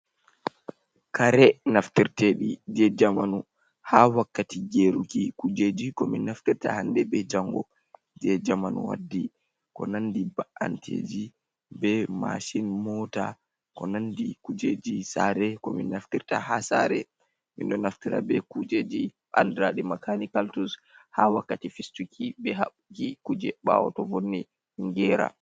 Kare naftirteɗi je jamanu, ha wakkati Geruki kujeji ko min Naftirta hande be jango je jamanu waddi. Ko nandi ba’anteji be mashin, mota ko nandi kujeji Sare ko min Naftirta ha Sare. Mindo naftira be kujeji andraɗe Makanikal tuls, ha wakkati fistuki be habɓuki kuje Ɓawo to vonni ɗum gera.